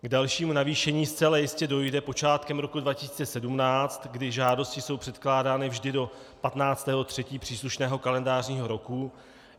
K dalšímu navýšení zcela jistě dojde počátkem roku 2017, kdy žádosti jsou předkládány vždy do 15. 3. příslušného kalendářního roku.